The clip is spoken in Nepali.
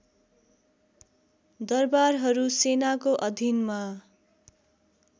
दरबारहरू सेनाको अधिनमा